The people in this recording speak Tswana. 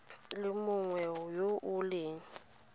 le mongwe yo o leng